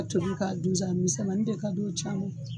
A tobi k'a dun sa misɛmani de ka d'u caman ye